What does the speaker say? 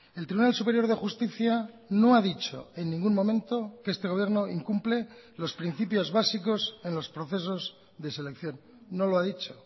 el tribunal superior de justicia no ha dicho en ningún momento que este gobierno incumple los principios básicos en los procesos de selección no lo ha dicho